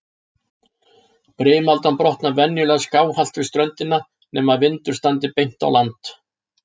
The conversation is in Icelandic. Brimaldan brotnar venjulega skáhallt við ströndina, nema vindur standi beint á land.